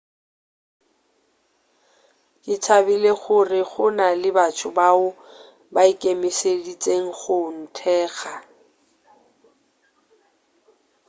ke thabile gore go na le batho bao ba ikemišeditšego go nthekga